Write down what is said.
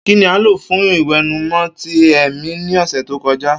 Kini a lo fun iwẹnumọ ti ẹmi ni ọsẹ to kọja?